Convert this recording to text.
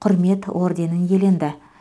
құрмет орденін иеленді